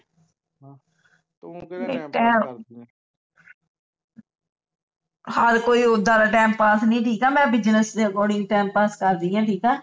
ਹਰ ਕੋਈ ਉੱਦਾਂ ਦਾ ਟਾਈਮ ਪਾਸ ਨੀ ਠੀਕ ਹੈ ਮੈਂ business ਦੇ according to time pass ਕਰ ਰਹੀ ਹਾਂ ਠੀਕ ਹੈ